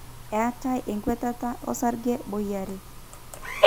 eetai enkwetata osarge boi are